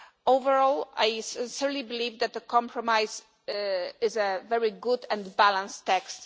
Overall I certainly believe that the compromise is a very good and balanced text.